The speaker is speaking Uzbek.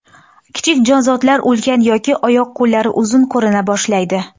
Kichik jonzotlar ulkan yoki oyoq-qo‘llari uzun ko‘rina boshlaydi.